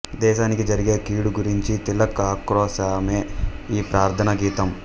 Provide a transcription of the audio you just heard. దేశానికి జరిగే కిడూ గురించి తిలక్ ఆక్రొశమే ఈ ప్రార్థనా గీతమ్